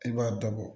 I b'a dɔ bɔ